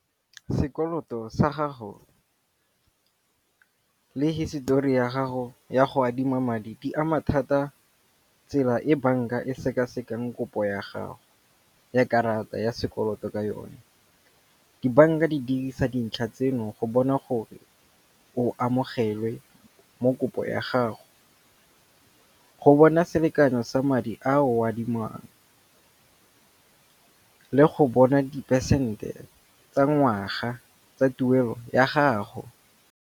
Sekoloto sa gago le hisetori ya gago ya go adima madi, di ama thata tsela e banka e sekasekang kopo ya gago ya karata ya sekoloto ka yone. Dibanka di dirisa dintlha tseno go bona gore o amogelwe mo kopo ya gago. Go bona selekanyo sa madi a o adimang le go bona di phesente tsa ngwaga tsa tuelo ya gago.